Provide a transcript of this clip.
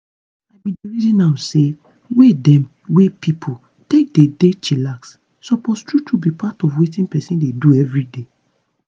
i bin dey reason am say way dem wey pipo take dey dey chillax suppose true true be part of wetin peson dey do everyday.